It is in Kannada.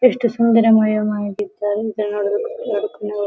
ಎಷ್ಟು ಸುಂದರ ಮಯಾ ವಾಗಿತ್ತು ಅಂತಾ ನೋಡ್ಬೇಕು ನೋಡ್ --